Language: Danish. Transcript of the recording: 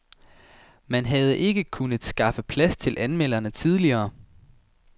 Man havde ikke kunnet skaffe plads til anmelderne tidligere.